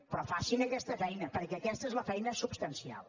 però facin aquesta feina perquè aquesta és la feina substancial